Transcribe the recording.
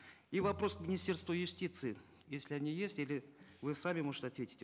и вопрос к министерству юстиции если они есть или вы сами может ответите